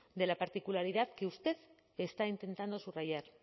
de la particularidad que usted está intentando subrayar